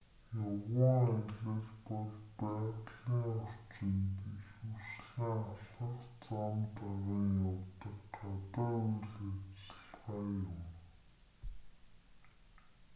явган аялал бол байгалийн орчинд ихэвчлэн алхах зам даган явдаг гадаа үйл ажиллагаа юм